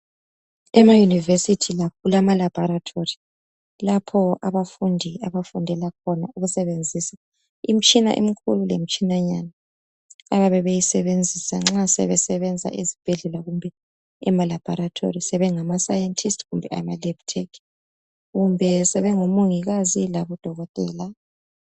Ema University lakho kulama laboratory lapho abafundi abafundela khona ukusebenzisa imitshina emikhulu lemitshinanyana abayabe beyisebenzisa nxa sebesenza ezibhedlela kumbe ema laboratory sebengaba scientists kumbe ema lab tech kumbe sebengomongikazi kumbe odokotela